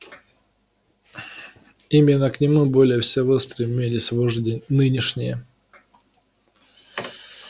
именно к нему более всего стремились вожди нынешние